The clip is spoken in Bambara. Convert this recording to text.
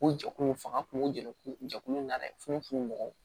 O jɛkulu in fanga kun jɛkulu jɛkulu in na dɛ funu funu mɔgɔ